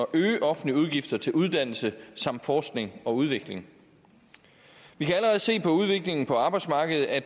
øge offentlige udgifter til uddannelse samt forskning og udvikling vi kan allerede se på udviklingen på arbejdsmarkedet at